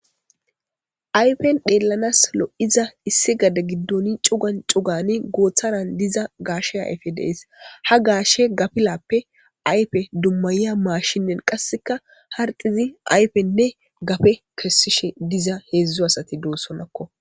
Ayfen dheellanas lo7iza issi gada giddoni cugan cugani gooththanan diza gaashe ayfe dees ha gaashe gapilappe ayfe dummayiya maashinnen qasseka harxizi ayfenne gafe kessishe diza heedzdzu asati doossonakko